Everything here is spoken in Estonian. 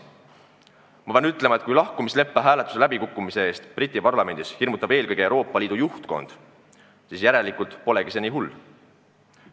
Ma pean ütlema, et kui lahkumisleppe hääletuse läbikukkumise eest Briti Parlamendis hirmutab eelkõige Euroopa Liidu juhtkond, siis järelikult polegi see nii hull.